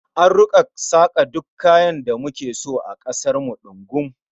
An rika saka duk kayan da muke bukata a kasar mu dungum